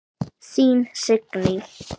Þín Signý.